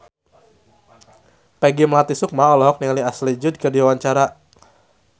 Peggy Melati Sukma olohok ningali Ashley Judd keur diwawancara